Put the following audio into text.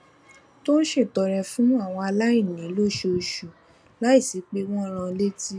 tó ń ṣètọrẹ fún àwọn aláìní lóṣooṣù láìsí pé wón ń rán an létí